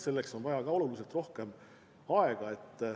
Selleks on vaja ka oluliselt rohkem aega.